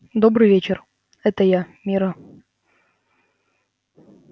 добрый вечер это я мирра